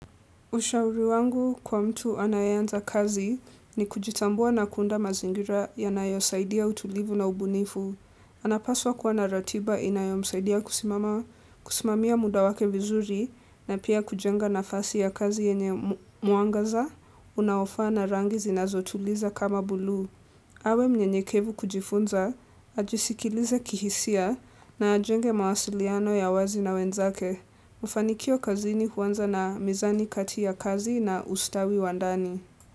Ushauri wangu kwa mtu anayanza kazi ni kujitambua na kuunda mazingira yanayosaidia utulivu na ubunifu. Anapaswa kuwa na ratiba inayomsaidia kusimama kusimamia muda wake vizuri na pia kujenga nafasi ya kazi yenye muangaza unaofaa na rangi zinazotuliza kama buluu awe mnyenyekevu kujifunza, ajisikilize kihisia na ajenge mawasiliano ya wazi na wenzake. Mafanikio kazini huanza na mizani kati ya kazi na ustawi wa ndani.